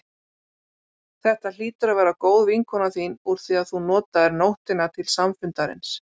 Þetta hlýtur að vera góð vinkona þín úr því að þú notaðir nóttina til samfundarins.